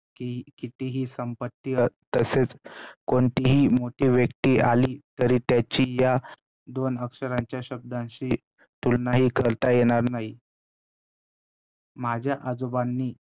की~ कितीही संपत्ती तसेच कोणतीही मोठी व्यक्ती आली तरी त्याची या दोन अक्षरांच्या शब्दाची तुलनाही करता येणार नाही, माझ्या आजोबांनी